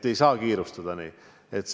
Ei saa kiirustada.